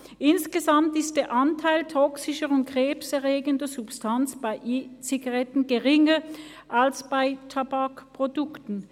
«Insgesamt ist der Anteil toxischer und krebserregender Substanzen bei E-Zigaretten geringer als bei Tabakprodukten».